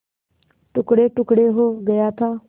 टुकड़ेटुकड़े हो गया था